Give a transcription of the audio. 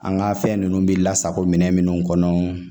An ka fɛn ninnu bɛ lasako minɛn minnu kɔnɔ